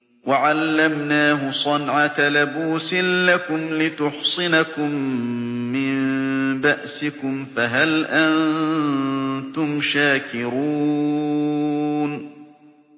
وَعَلَّمْنَاهُ صَنْعَةَ لَبُوسٍ لَّكُمْ لِتُحْصِنَكُم مِّن بَأْسِكُمْ ۖ فَهَلْ أَنتُمْ شَاكِرُونَ